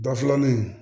Da filanin